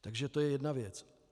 Takže to je jedna věc.